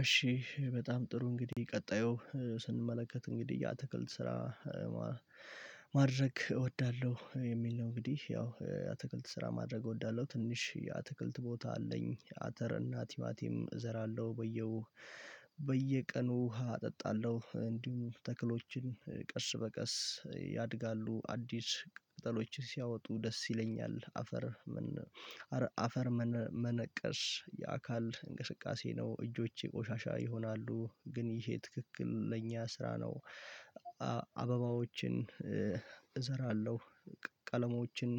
እሺ በጣም ጥሩ እንግዲህ ቀጣዩ ስንመለከት እንግዲህ ያ ትክልት ስራ ማድረግ እወዳለሁ የሚል ነው። እንግዲህ ያው አትክልት ስራ ማድረግ እወዳለሁ ትንሽ አትክልት ቦታ አለኝ አተር እና ቲማቲም እዘራለሁ በየው በየቀኑ ዉሃ አጠጣለሁ እንዲሁም ተክሎችን ቀስ በቀስ ያድጋሉ አዲስ ቅጠሎችን ሲያወጡ ደስ ይለኛል። አፈር አፈር መነቀስ የአካል እንቅስቃሴ ነው እጆቼ ቆሻሻ ይሆናሉ ግን ይሄ ትክክለኛ ስራ ነው። አበባዎችን እዘረጋለሁ ቀለማዎችን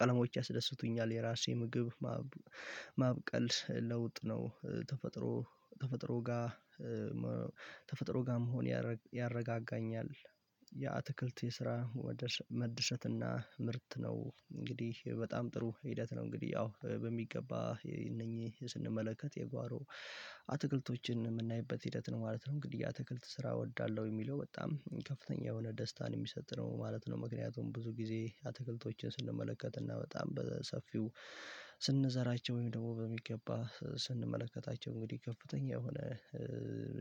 ቀለማዎች ያስደስቱኛል። የራሴ ምግብ ማብቀል ለውጥ ነው። ተፈጥሮ ተፈጥሮ ጋር ተፈጥሮ ጋር መሆን ያረጋጋኛል። የአትክልት የስራ ወደ መደሰት እና ምርት ነው እንግዲህ በጣም ጥሩ ሂደት ነው። እንግዲህ አዎ በሚገባ እነኚህ ስንመለከት የጓሮ አትክልቶችን የምናይበት ሂደት ነው ማለት ነው። እንግዲህ አትክልት ስራ እወዳለሁ የሚለው በጣም ከፍተኛ የሆነ ደስታን የሚሰጥ ነው ማለት ነው። ምክንያቱም ብዙ ጊዜ አትክልቶችን ስንመለከት እና በጣም በሰፊው ስንዘራቸው ወይም ደግሞ በሚገባ ስንመለከታቸው እንግዲህ ከፍተኛ የሆነ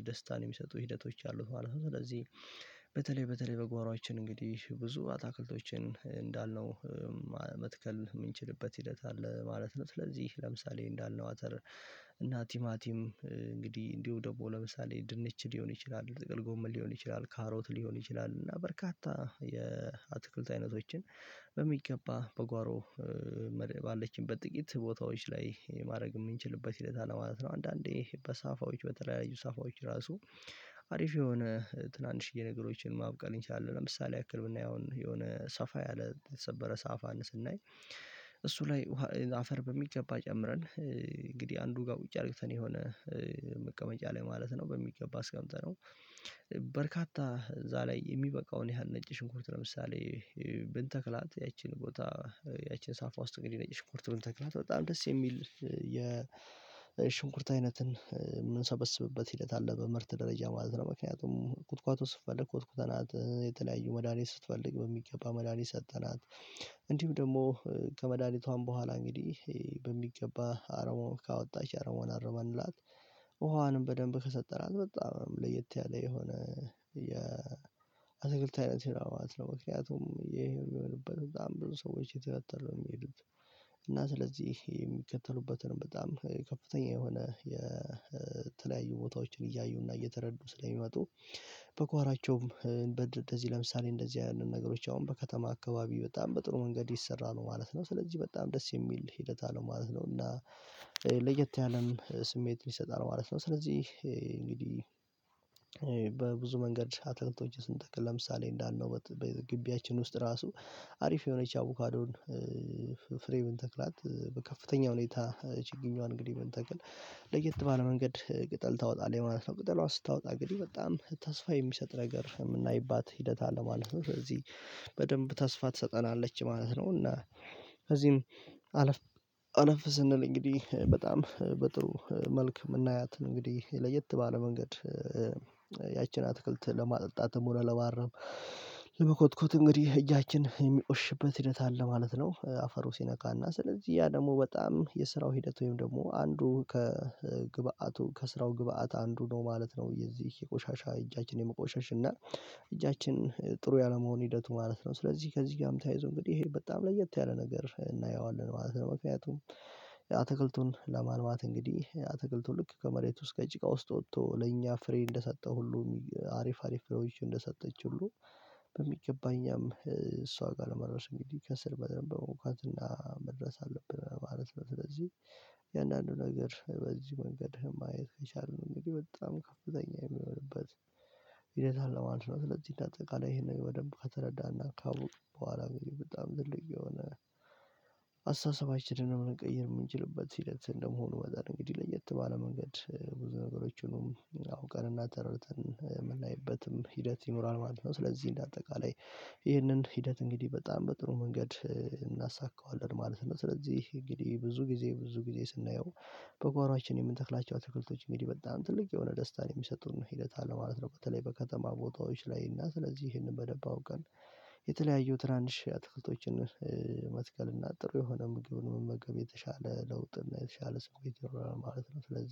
ደስታን የሚሰጡ ሂደቶች አሉት ማለት ነው። ስለዚህ በተለይ በተለይ በጓራዎችን እንግዲህ ብዙ አትክልቶችን እንዳልነው መትከል የምንችልበት ሂደት አለ ማለት ነው። ስለዚህ ለምሳሌ እንዳልነው አተር እና ቲማቲም እንግዲህ እንዲሁ ደግሞ ለምሳሌ ድንች ሊሆን ይችላል ጥቅል ጎመል ሊሆን ይችላል ካሮት ሊሆን ይችላል እና በርካታ የአትክልት አይነቶችን በሚገባ በጓሮ ባለችበት ጥቂት ቦታዎች ላይ ማድረግ የምንችልበት ሂደት አለ ማለት ነው። አንዳንዴ በሳፋዎች በተለያዩ ሳፋዎች ራሱ አሪፍ የሆነ ትናንሽዬ ነገሮችን ማብቀል እንችላለን። ለምሳሌ ያክል ብናይ አሁን የሆነ ሰፋ ያለ የተሰበረ ሰአፋን ስናይ እሱ ላይ አፈር በሚገባ ጨምረን እንግዲህ አንዱ ጋር ቁጭ አድርግተን የሆነ መቀመጫ ላይ ማለት ነው። በሚገባ አስቀምጠነው። በርካታ እዛ ላይ የሚበቃውን ያህል ነጭ ሽንኩርት ለምሳሌ ብንተክላት ያቺን ቦታ ያቺን ሳፋ ውስጥ እንግዲህ ነጭ ሽንኩርት ብንተክላት በጣም ደስ የሚል የሽንኩርት አይነትን የምንሰበስብበት ሂደት አለ በምርት ደረጃ ማለት ነው። ምክንያቱም ቁጥቋጦ ስትፈልግ ኮትኩተናት የተለያዩ መዳኒት ስትፈልግ በሚገባ መዳኒት ሰጠናት። እንዲሁም ደግሞ ከመድሃኒቷም በኋላ እንግዲህ በሚገባ አረሞ ካወጣች አርሞን አረመንላት ውሃዋንም በደንብ ከሰጠራት በጣም ለየት ያለ የሆነ የአትክልት አይነት ነው። ምክንያቱም ይሄው የሚሆንበት በጣም ብዙ ሰዎች የተከተሉ ነው የሚሄዱት። እና ስለዚህ የሚከተሉበትን በጣም ከፍተኛ የሆነ የተለያዩ ቦታዎችን እያዩና እየተረዱ ስለሚመጡ በጓራቸውም እንደዚህ ለምሳሌ እንደዚህ አይነት ነገሮች አሁን በከተማ አካባቢ በጣም በጥሩ መንገድ ይሰራ ነው ማለት ነው። ስለዚህ በጣም ደስ የሚል ሂደት አለው ማለት ነው። እና ለየት ያለም ስሜት ሊሰጣል ማለት ነው። ስለዚህ እንግዲህ በብዙ መንገድ አትክልቶችን ስንተክል ለምሳሌ እንዳልነው በግቢያችን ውስጥ ራሱ አሪፍ የሆነች አቡካዶን ፍሬን ብንተክላት በከፍተኛ ሁኔታ ችግንዋን እንግዲህ ብንተክል ለየት ባለ መንገድ ቅጠል ታወጣለህ ማለት ነው ቅጠሏን ስታወጣ እንግዲህ በጣም ተስፋ የሚሰጥ ነገር የምናይባት ሂደት አለ ማለት ነው። ስለዚህ በደንብ ተስፋ ትሰጠናለች ማለት ነው። እና ከዚህም አለፍ አለፍ ስንል እንግዲህ በጣም በጥሩ መልክ የምናያትን እንግዲህ ለየት ባለ መንገድ ያቺን አትክልት ለማጠጣት ሆነ ለማረም ለመኮትኮት እንግዲህ እጃችን የሚቆሽሽበት ሂደት አለ ማለት ነው። አፈሩ ሲነካና ስለዚህ ያ ደግሞ በጣም የስራው ሂደት ወይም ደግሞ አንዱ ከግብአቱ ከስራው ግብአት አንዱ ነው ማለት ነው። የዚህ የቆሻሻ እጃችንን የመቆሸሽ እና እጃችን ጥሩ ያለመሆን ሂደቱ ማለት ነው። ስለዚህ ከዚህ ጋር ተያይዞ እንግዲህ ይሄ በጣም ለየት ያለ ነገር እናየዋለን ማለት ነው። ምክንያቱም የአትክልቱን ለማልማት እንግዲህ የአትክልቱን ልክ ከመሬት ውስጥ ከጭቃ ውስጥ ወጥቶ ለኛ ፍሬ እንደሰጠው ሁሉ አሪፍ አሪፍ ፍሬዎች እንደሰጠች ሁሉ በሚገባ እኛም እሷ ጋር ለመድረስ እንግዲህ ከስር በደንብ በመሆንኳትና መድረስ አለብን ማለት ነው። ስለዚህ የአንዳንዱ ነገር በዚህ መንገድ ማየት ከቻልን ነው። እኔ በጣም ከፍተኛ የሚሆንበት ሂደት አለ ማለት ነው። ስለዚህ እና እንደ አጠቃላይ ይሄንን በደንብ ከተረዳና ካውቅኩ በኋላ ግን በጣም ትልቅ የሆነ አስተሳሰባችንን መቀየር የምንችልበት ሂደት እንደመሆኑ መጠን እንግዲህ ለየት ባለ መንገድ ብዙ ነገሮችንም አውቀንና ተረድተን የምናይበትም ሂደት ይኖራል ማለት ነው። ስለዚህ እንደ አጠቃላይ ይህንን ሂደት እንግዲህ በጣም በጥሩ መንገድ እናሳካዋለን ማለት ነው። ስለዚህ እንግዲህ ብዙ ጊዜ ብዙ ጊዜ ስናየው በጓሮአችን የምንተክላቸው አትክልቶች እንግዲህ በጣም ትልቅ የሆነ ደስታን የሚሰጡን ሂደት አለ ማለት ነው። በተለይ በከተማ ቦታዎች ላይ እና ስለዚህ ይህንን በደንብ አውቀን የተለያየው ትናንሽ አትክልቶችን መትከል እና ጥሩ የሆነ ምግብን መመገብ የተሻለ ለውጥና የተሻለ ስሜት ይጀራል ማለት ነው። ስለዚህ